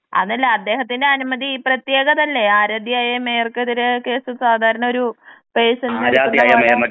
അതല്ല അദ്ദേഹത്തിന്റെ അനുമതി പ്രത്യേകതയില്ലേ ആരാധ്യയായ മേയർക്കെതിരെ കേസ് സാധാരണ ഒരു പേഴ്സണിന് എടുക്കുന്ന പോലെ